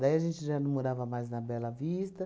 Daí a gente já não morava mais na Bela Vista.